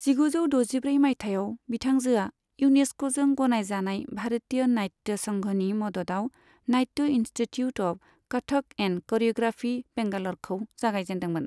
जिगुजौ द'जिब्रै मायथाइयाव बिथांजोआ इउनेस्क'जों गनायजानाय भारतीय नाट्य संघनि मददआव Natya institute of Kathak and choreography, बेंगाल'रखौ जागायजेनदोंमोन।